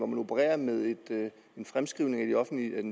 man opererer med en fremskrivning af